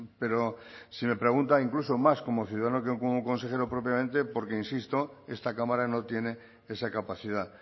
pero si me pregunta incluso más como ciudadano que como consejero propiamente porque insisto esta cámara no tiene esa capacidad